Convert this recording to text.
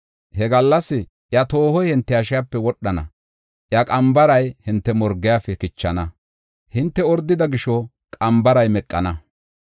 He gallas, iya toohoy hinte hashiyape wodhana; iya qambaray hinte morgefe kichana. Hinte ordida gisho qambaray meqana.